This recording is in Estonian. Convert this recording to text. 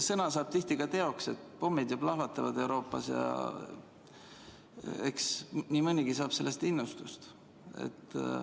Sõna saab tihti teoks, pommid ju plahvatavad Euroopas ja eks nii mõnigi saab sellest innustust.